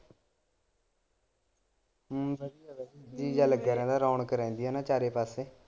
ਜੀਅ ਜਾ ਲੱਗਿਆ ਰਿਹੰਦਾ ਰੋਣਕ ਰਹਿੰਦੀ ਹੈ ਨਾ ਚਾਰੇ ਪਾਸੇ।